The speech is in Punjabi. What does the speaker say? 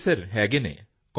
ਜੀ ਹੈ ਸਰ